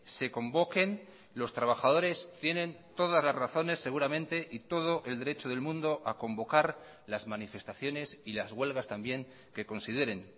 se convoquen los trabajadores tienen todas las razones seguramente y todo el derecho del mundo a convocar las manifestaciones y las huelgas también que consideren